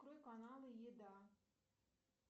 открой каналы еда